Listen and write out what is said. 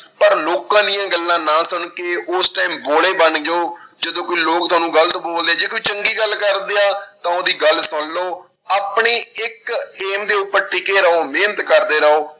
ਪਰ ਲੋਕਾਂ ਦੀਆਂ ਗੱਲਾਂਂ ਨਾ ਸੁਣ ਕੇ ਉਸ time ਬੋਲੇ ਬਣ ਜਾਓ, ਜਦੋਂ ਕੋਈ ਲੋਕ ਤੁਹਾਨੂੰ ਗ਼ਲਤ ਬੋਲਦੇ ਜੇ ਕੋਈ ਚੰਗੀ ਗੱਲ ਕਰਦੇ ਆ ਤਾਂ ਉਹਦੀ ਗੱਲ ਸੁਣ ਲਓ, ਆਪਣੀ ਇੱਕ aim ਦੇ ਉੱਪਰ ਟਿੱਕੇ ਰਹੋ ਮਿਹਨਤ ਕਰਦੇ ਰਹੋ।